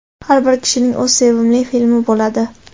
Har bir kishining o‘z sevimli filmi bo‘ladi.